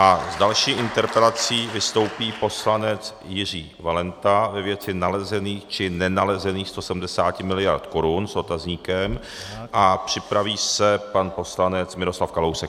A s další interpelací vystoupí poslanec Jiří Valenta ve věci nalezených či nenalezených 170 miliard korun, s otazníkem, a připraví se pan poslanec Miroslav Kalousek.